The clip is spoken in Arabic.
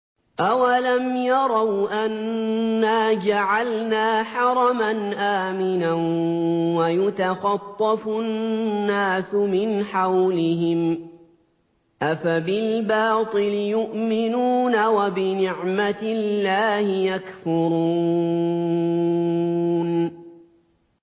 أَوَلَمْ يَرَوْا أَنَّا جَعَلْنَا حَرَمًا آمِنًا وَيُتَخَطَّفُ النَّاسُ مِنْ حَوْلِهِمْ ۚ أَفَبِالْبَاطِلِ يُؤْمِنُونَ وَبِنِعْمَةِ اللَّهِ يَكْفُرُونَ